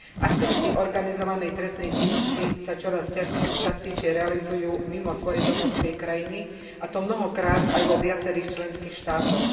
Aktivity organizovanej trestnej činnosti sa čoraz častejšie realizujú mimo svojej domovskej krajiny a to mnohokrát aj vo viacerých členských štátoch.